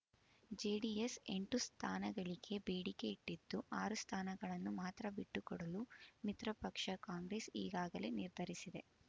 JDS ಎಂಟು ಸ್ಥಾನಗಳಿಗೆ ಬೇಡಿಕೆ ಇಟ್ಟಿದ್ದು ಆರು ಸ್ಥಾನಗಳನ್ನು ಮಾತ್ರ ಬಿಟ್ಟುಕೊಡಲು ಮಿತ್ರಪಕ್ಷ ಕಾಂಗ್ರೆಸ್ ಈಗಾಗಲೇ ನಿರ್ಧರಿಸಿದೆ